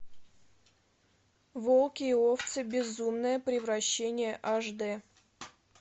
волки и овцы безумное превращение аш дэ